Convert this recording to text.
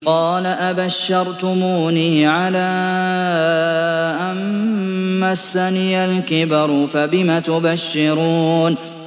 قَالَ أَبَشَّرْتُمُونِي عَلَىٰ أَن مَّسَّنِيَ الْكِبَرُ فَبِمَ تُبَشِّرُونَ